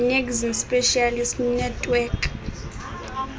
nekzn specialist network